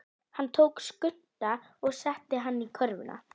Hann tók Skunda og setti hann í körfuna.